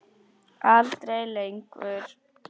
Aldrei lengur.